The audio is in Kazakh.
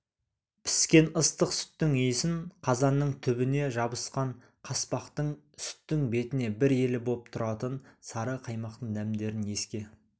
піскен ыстық сүттің иісін қазанның түбіне жабысқан қаспақтың сүттің бетіне бір елі боп тұратын сары қаймақтың дәмдерін еске